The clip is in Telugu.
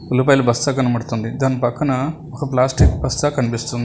ఉల్లిపాయల బస్తా కనబడుతుంది దాని పక్కన ఒక ప్లాస్టిక్ బస్తా కనిపిస్తుంది.